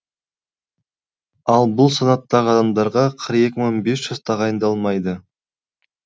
ал бұл санаттағы адамдарға қырық екі мың бес жүз тағайындалмайды